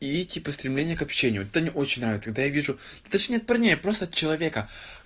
и типа стремление к общению это мне очень нравится когда я вижу то есть нет парней просто от человека